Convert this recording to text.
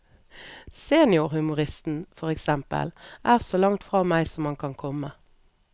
Seniorhumoristen, for eksempel, er så langt fra meg som han kan komme.